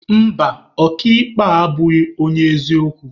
Mba, ọka ikpe a abụghị onye eziokwu.